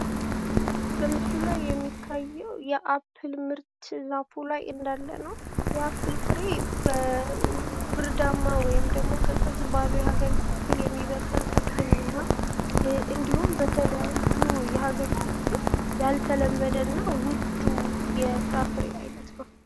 በምስሉ ላይ የሚታየው የአፕል ምርት ዛፉ ላይ እንያለ ነው። የአፕል ፍሬ በብርዳማ ወይም ደግሞ ቀዝቃዛ በሆኑ የሀገሪቱ ክፍል የሚበቅል ተክል ነው። እንድሁም በተለያዩ የሀገሪቱ ክፍል ያልተለመደ እና ውዱ የፍራፍሬ አይነት ነው።